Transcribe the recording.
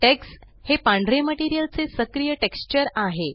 text हे पांढरे material चे सक्रिय टेक्स्चर आहे